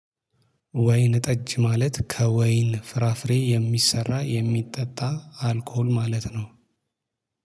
ወይንጠጅ ማለት ከወይን ፍራፍሬ የሚሰራ የሚጠጣ አልኮል ማለት ነው።